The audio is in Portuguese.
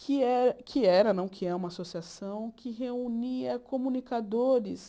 que é que era não que é, uma associação, que reunia comunicadores